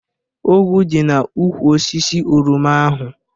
Ọgwụ dị n'úkwù osisi oroma ahu